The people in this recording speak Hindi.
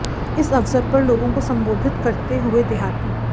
इस अवसर पर लोगों को संबोधित करते हुए देहाती